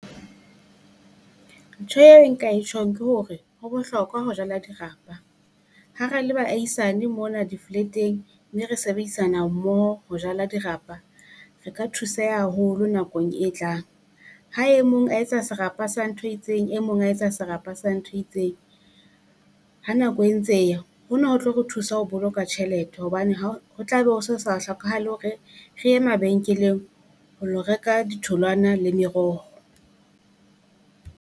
Ntho eo e nka e tjhong ke hore ho bohlokwa ho jala dirapa, ha ra le baahisane mona di-flat-eng, mme re sebedisana mmoho ho jala dirapa. Re ka thuseha haholo nakong e tlang. Ha e mong a etsa serapa sa ntho e itseng, e mong a etsa serapa sa ntho e itseng, ha nako e ntse hona ho tlo re thusa ho boloka tjhelete hobane ha ho tla be ho so sa hlokahale hore re e mabenkeleng ho lo reka ditholwana le meroho.